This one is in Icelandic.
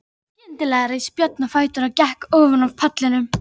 Skyndilega reis Björn á fætur og gekk ofan af pallinum.